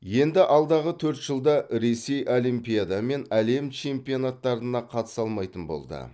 енді алдағы төрт жылда ресей олимпиада мен әлем чемпионаттарына қатыса алмайтын болды